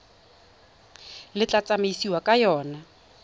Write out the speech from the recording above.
le tla tsamaisiwang ka yona